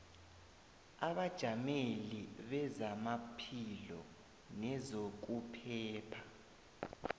abajameli bezamaphilo nezokuphepha